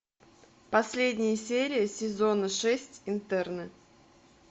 последняя серия сезона шесть интерны